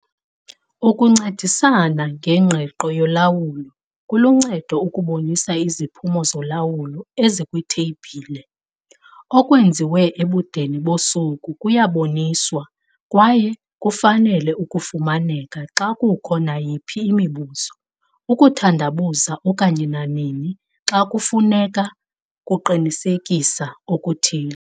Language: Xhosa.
Ukuncedisa ngengqiqo yolawulo kuluncedo ukubonisa iziphumo zolawulo ezikwitheyibhile. Okwenziwe ebudeni bosuku kuyaboniswa kwaye kufanele ukufumaneka xa kukho nayiphi imibuzo, ukuthandabuza okanye nanini xa kufuneka ukuqinisekisa okuthile.